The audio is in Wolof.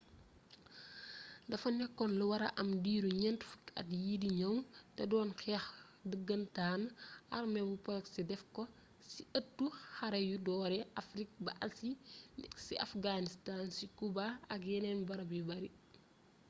defa nekkon lu wara am diiru ñent fukki at yi di ñëw te doon xeex dëggëntaan arme bu proxy def ko ci ëttu xare yu doore afrig ba asi ci afghanstan ci cuba ak yeneen barab yu bare